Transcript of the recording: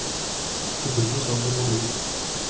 Du blir sånn du må bli.